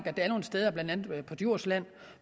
at der er nogle steder blandt andet på djursland